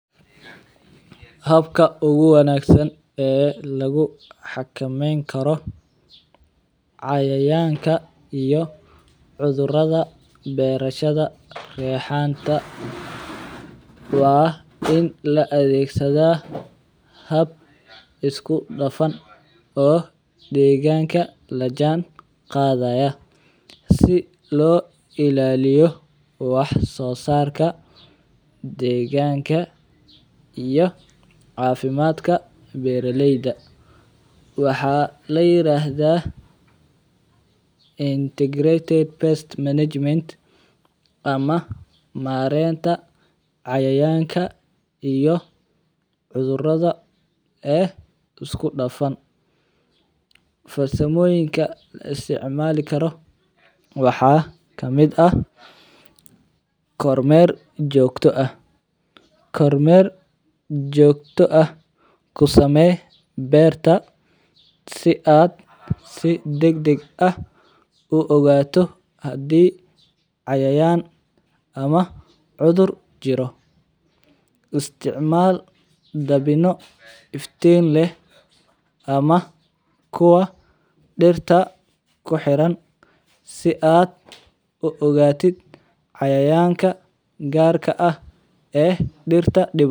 Habka ugu wanaagsan oo lagu xakameyn karo cayayaanka iyo beeraleyda raxanta waa in la adeegsado hab isudhafan oo deegaanka la jaan qaadayo si loo ilaaliyo wax soo saarka deegaanka iyo wax soo saarka beeraleyda. Waxaa la yiraahdaa Integrated Pest Management ama maaraynta cayayaanka iyo cudurrada ee isudhafan. Farsamooyinka la isticmaalayo waxaa ka mid ah: Koow: Kormeer joogto ah ku samee beerta si aad si degdeg ah u ogaato haddii ay cayayaan ama cudur jiraan. Labo: Isticmaal dabino iftiin leh ama kuwa dhirta ku xiran si aad u ogaato cayayaanka gaar ah ee dhirta dhibaya.